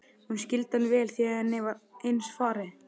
Hún skildi hann vel því henni var eins farið.